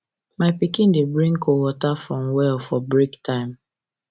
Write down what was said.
my pikin dey bring cold water from well for break time